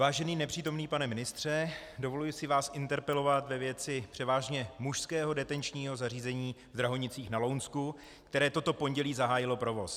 Vážený nepřítomný pane ministře, dovoluji si vás interpelovat ve věci převážně mužského detenčního zařízení v Drahonicích na Lounsku, které toto pondělí zahájilo provoz.